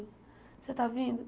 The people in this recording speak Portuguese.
Você está vindo?